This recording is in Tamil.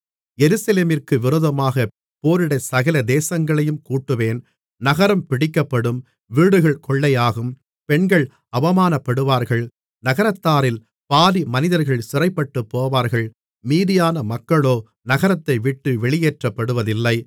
எருசலேமிற்கு விரோதமாக போரிடச் சகல தேசங்களையும் கூட்டுவேன் நகரம் பிடிக்கப்படும் வீடுகள் கொள்ளையாகும் பெண்கள் அவமானப்படுவார்கள் நகரத்தாரில் பாதி மனிதர்கள் சிறைப்பட்டுப்போவார்கள் மீதியான மக்களோ நகரத்தைவிட்டு வெளியேற்றப்படுவதில்லை